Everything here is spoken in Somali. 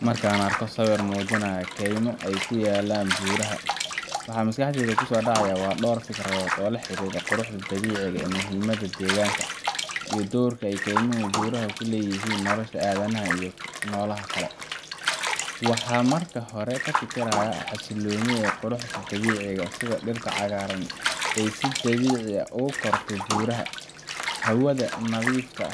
Markan arko sawir mujinaya keymo ee kuyalan buraha waxaa maskaxdeyda kusodacaya waa dor fikradod oo la xiriro iyo nololaha kale, waxaa marki hore kafikiraya xasiloni iyo qurux dawici ah sitha dirta cagarta ah ee si dawici ah ogu korti buraha, hawaada nadhifka